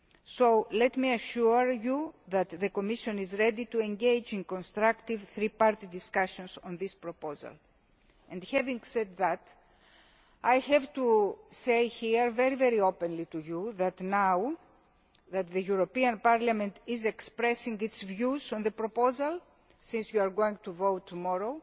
So let me assure you that the Commission is ready to engage in constructive three party discussions on this proposal. Having said that, I have to say here very openly that now that Parliament is expressing its views on the proposal, since you are going to vote tomorrow,